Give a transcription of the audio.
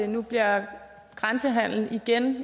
nu bliver grænsehandel igen